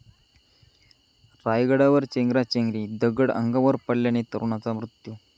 रायगडावर चेंगराचेंगरी, दगड अंगावर पडल्याने तरुणाचा मृत्यू